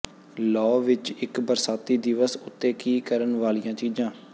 law ਵਿੱਚ ਇੱਕ ਬਰਸਾਤੀ ਦਿਵਸ ਉੱਤੇ ਕੀ ਕਰਨ ਵਾਲੀਆਂ ਚੀਜ਼ਾਂ